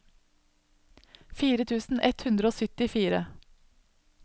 fire tusen ett hundre og syttifire